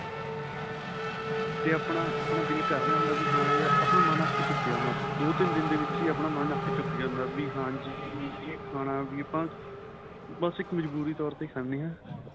ਤੇ ਆਪਣਾ ਆਪਣਾਂ ਦਿੱਲ ਕਰ ਰਿਹਾ ਹੁੰਦਾ ਵੀ ਹਾਂ ਯਾਰ ਆਪਣਾ ਮਨ ਅੱਕ ਚੁੱਕਿਆ ਹੁੰਦਾ ਦੋ ਤਿੰਨ ਦੇ ਵਿੱਚ ਹੀ ਆਪਣਾ ਮਨ ਅੱਕ ਚੁੱਕ ਜਾਂਦਾ ਵੀ ਹਾਂਜੀ ਵੀ ਖਾਣਾ ਵੀ ਆਪਾਂ ਬੱਸ ਇੱਕ ਮੁਜ੍ਬਰੀ ਤੋਰ ਤੇ ਖਾਦੇ ਆਂ